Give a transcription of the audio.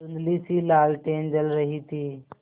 धुँधलीसी लालटेन जल रही थी